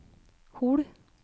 Hol